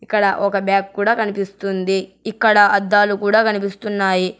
ఇక్కడ ఒక బ్యాగ్ కూడా కనిపిస్తుంది ఇక్కడ అద్దాలు కూడా కనిపిస్తున్నాయి.